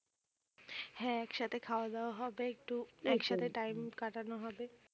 হ্যাঁ একসাথে খাওয়া দাওয়া হবে একটু একসাথে time কাটানো হবে